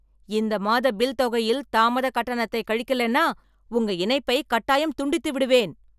இந்த மாத பில் தொகையில் தாமத கட்டணத்தை கழிக்கலேன்னா உங்க இணைப்பை கட்டாயம் துண்டித்து விடுவேன்.